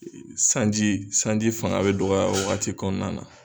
E e Sanji sanji fanga be dɔgɔya o wagati kɔnɔna na